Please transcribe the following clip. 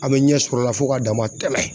A be ɲɛsɔrɔ o la fo ka dama tɛɛmɛ